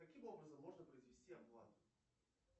каким образом можно произвести оплату